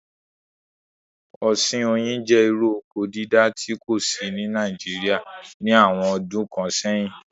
Ọ̀sìn oyin jẹ́ irú oko dídá tí kò sí ní Naijiria ní àwọn ọdún kan sẹ̀yín